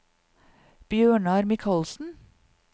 Bjørnar Mikalsen